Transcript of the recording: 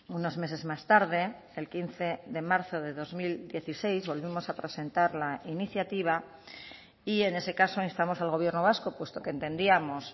unos meses más tarde el quince de marzo de dos mil dieciséis volvemos a presentar la iniciativa y en ese caso instamos al gobierno vasco puesto que entendíamos